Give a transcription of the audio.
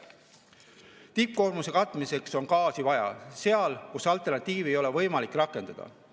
Tippkoormuse katmiseks on gaasi vaja seal, kus alternatiivi ei ole võimalik rakendada.